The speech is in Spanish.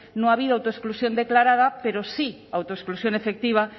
no ha habido autoexclusión declarada pero sí autoexclusión efectiva